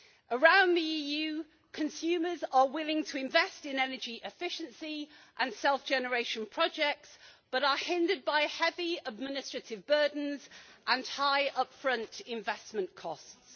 Around the EU, consumers are willing to invest in energy efficiency and self generation projects, but are hindered by heavy administrative burdens and high upfront investment costs.